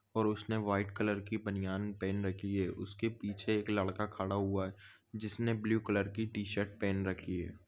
और उसने white colour कि बनियान पेहन रखी है उसके पीछे एक लडका खडा हुआ है जिसने ब्लू कलर कि टी शर्ट पेहन रखी है।